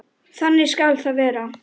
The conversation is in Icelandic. Þannig skal það verða.